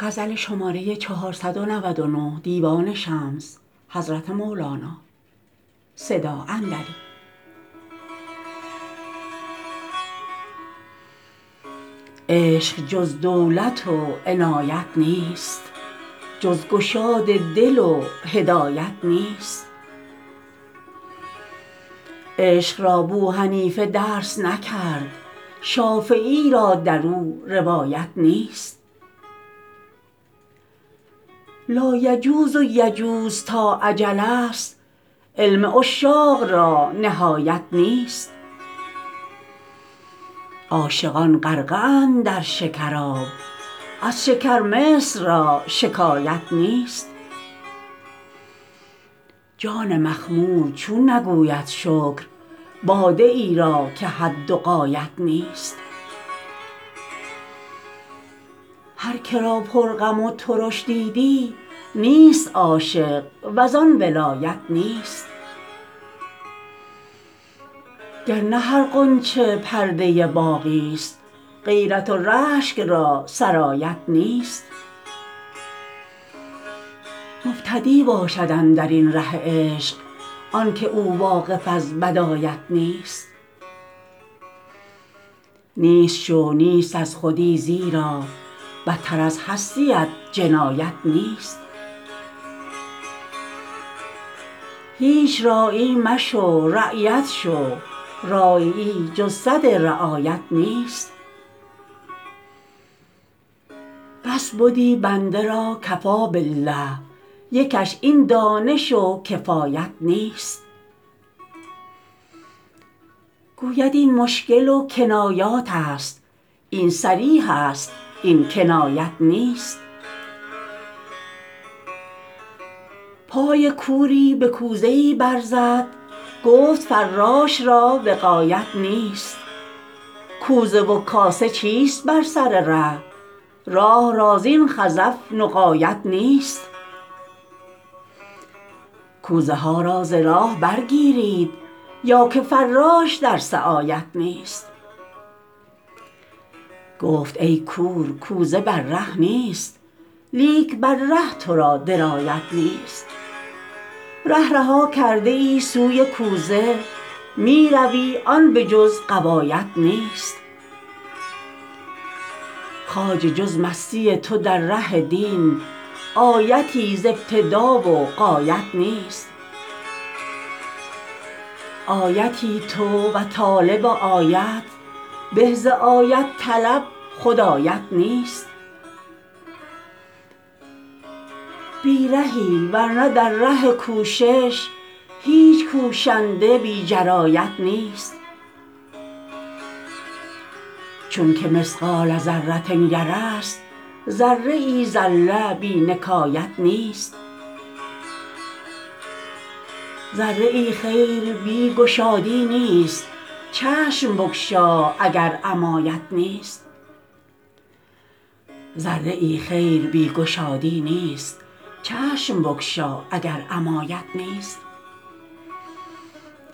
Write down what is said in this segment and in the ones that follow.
عشق جز دولت و عنایت نیست جز گشاد دل و هدایت نیست عشق را بوحنیفه درس نکرد شافعی را در او روایت نیست لایجوز و یجوز تا اجل ست علم عشاق را نهایت نیست عاشقان غرقه اند در شکراب از شکر مصر را شکایت نیست جان مخمور چون نگوید شکر باده ای را که حد و غایت نیست هر که را پرغم و ترش دیدی نیست عاشق و زان ولایت نیست گر نه هر غنچه پرده باغی ست غیرت و رشک را سرایت نیست مبتدی باشد اندر این ره عشق آنک او واقف از بدایت نیست نیست شو نیست از خودی زیرا بتر از هستیت جنایت نیست هیچ راعی مشو رعیت شو راعیی جز سد رعایت نیست بس بدی بنده را کفی بالله لیکش این دانش و کفایت نیست گوید این مشکل و کنایاتست این صریح است این کنایت نیست پای کوری به کوزه ای برزد گفت فراش را وقایت نیست کوزه و کاسه چیست بر سر ره راه را زین خزف نقایت نیست کوزه ها را ز راه برگیرید یا که فراش در سعایت نیست گفت ای کور کوزه بر ره نیست لیک بر ره تو را درایت نیست ره رها کرده ای سوی کوزه می روی آن به جز غوایت نیست خواجه جز مستی تو در ره دین آیتی ز ابتدا و غایت نیست آیتی تو و طالب آیت به ز آیت طلب خود آیت نیست بی رهی ور نه در ره کوشش هیچ کوشنده بی جرایت نیست چونک مثقال ذره یره است ذره زله بی نکایت نیست ذره خیر بی گشادی نیست چشم بگشا اگر عمایت نیست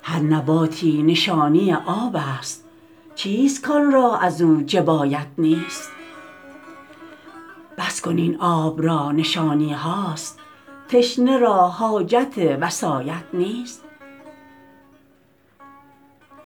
هر نباتی نشانی آب است چیست کان را از او جبایت نیست بس کن این آب را نشانی هاست تشنه را حاجت وصایت نیست